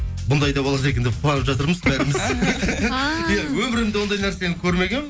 бұндай да болады екен деп қуанып жатырмыз бәріміз өмірімде ондай нәрсені көрмегенмін